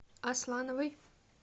аслановой